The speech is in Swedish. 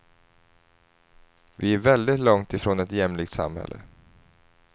Vi är väldigt långt ifrån ett jämlikt samhälle.